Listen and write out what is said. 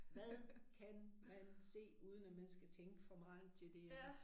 Hvad kan man se uden at man skal tænke for meget til det